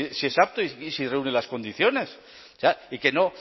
si es apto y si reúne las condiciones o sea y que no